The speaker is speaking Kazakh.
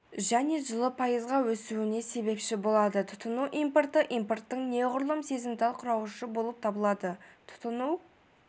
және жылы пайызға өсуіне себепші болады тұтыну импорты импорттың неғұрлым сезімтал құрауышы болып табылады тұтыну